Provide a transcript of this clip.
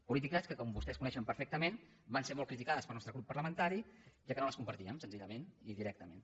polítiques que com vostès coneixen perfectament van ser molt criticades pel nostre grup parlamentari ja que no les compartíem senzillament i directament